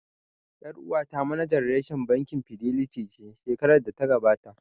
Ƴar uwata manajan reshen bankin Fidelity ce shekarar da ta gabata